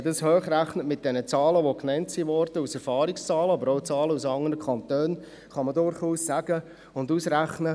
Nimmt man mit den Zahlen, die genannt worden sind, eine Hochrechnung vor, kann man durchaus zu folgendem Schluss kommen: